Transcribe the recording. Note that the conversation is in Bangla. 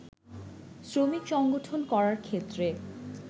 শ্রমিক সংগঠন করার ক্ষেত্রে